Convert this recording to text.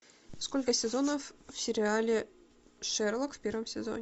сколько сезонов в сериале шерлок в первом сезоне